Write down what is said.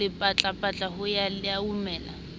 lepatlapatla ho ya e laumela